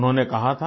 उन्होंने कहा था